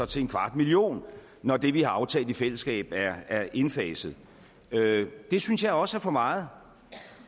til en kvart million når det vi har aftalt i fællesskab er indfaset det synes jeg også er for meget